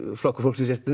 Flokkur fólksins er